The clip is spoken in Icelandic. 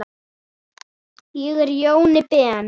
Ég er Jóni Ben.